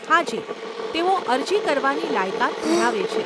હાજી, તેઓ અરજી કરવાની લાયકાત ધરાવે છે.